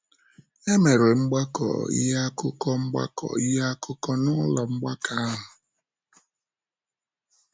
E mere mgbakọ ihe akụkọ mgbakọ ihe akụkọ n’ụlọ mgbakọ ahụ.